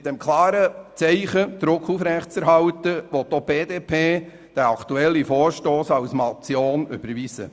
Mit dem klaren Zeichen, den Druck aufrechtzuerhalten, will auch die BDP diesen Vorstoss als Motion überweisen.